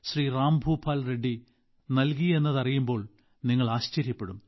റാംഭൂപാൽ റെഡ്ഡി നൽകിയെന്ന് അറിയുമ്പോൾ നിങ്ങൾ ആശ്ചര്യപ്പെടും